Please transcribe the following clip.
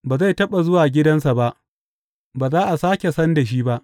Ba zai taɓa zuwa gidansa ba; ba za a sāke san da shi ba.